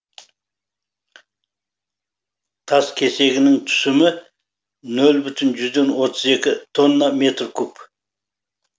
тас кесегінің түсімі нөл бүтін жүзден отыз екі тонна метр куб